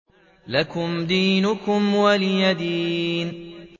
لَكُمْ دِينُكُمْ وَلِيَ دِينِ